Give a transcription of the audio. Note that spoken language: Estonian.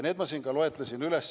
Need ma siin juba loetlesin.